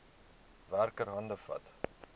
werker hande vat